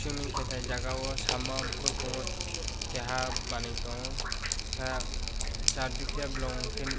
swimming khetai jaga o samo borkungo keha manui tongo khe chardike blongkhe nuk.